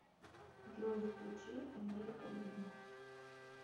джой включи американ вью